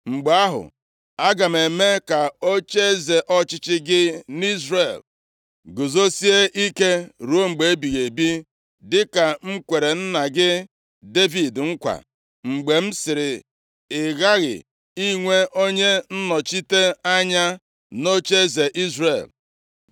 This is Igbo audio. mgbe ahụ, aga m eme ka ocheeze ọchịchị gị nʼIzrel guzosie ike ruo mgbe ebighị ebi, dịka m kwere nna gị Devid nkwa, mgbe m sịrị, ‘Ị ghaghị inwe onye nnọchite anya nʼocheeze Izrel.’